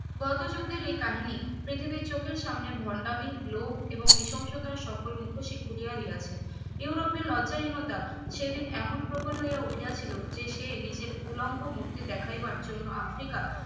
গত যুদ্ধের এই কাহিনী পৃথিবীর চোখের সামনে ভন্ডামি লোভ এবং নিঃসঙ্গতা সকল মুখোশই খুলিয়া দিয়াছে ইউরোপে লজ্জাহীনতা সেই দিন এমন প্রবল হইয়া উঠিয়াছিল যে সে নিজের উলঙ্গ মুর্তি দেখাইবার জন্য আফ্রিকা